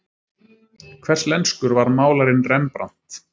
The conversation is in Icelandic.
Hverslenskur var málarinn Rembrant?